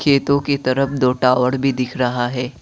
खेतों के तरफ दो टॉवर भी दिख रहा है।